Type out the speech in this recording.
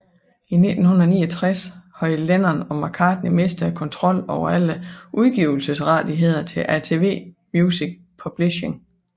I 1969 havde Lennon og McCartney mistet kontrollen over alle udgivelsesrettigheder til ATV Music Publishing